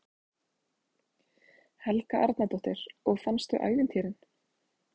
Helga Arnardóttir: Og fannstu ævintýrin?